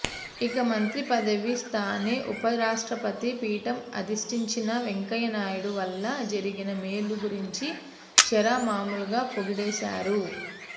ఇక మంత్రి పదవి స్థానే ఉపరాష్ట్రపతి పీఠం అధిష్టించిన వెంకయ్యనాయుడు వల్ల జరిగిన మేలు గురించి షరా మామూలుగా పొగిడేశారు